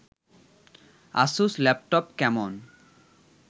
Asus laptop কেমন